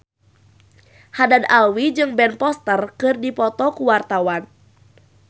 Haddad Alwi jeung Ben Foster keur dipoto ku wartawan